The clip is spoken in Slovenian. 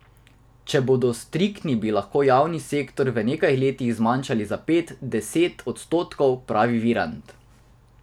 Če bodo striktni, bi lahko javni sektor v nekaj letih zmanjšali za pet, deset odstotkov, pravi Virant.